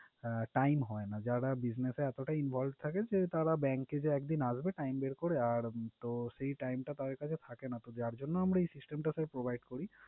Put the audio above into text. আহ time হয় না। যারা business এ এতটাই involve থাকে যে তারা bank এ যে একদিন আসবে time বের করে আর তো time টা তাদের কাছে থাকে না। তো যার জন্য আমরা এই system টা আমরা provide করি।